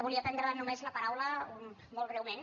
voldria prendre només la paraula molt breument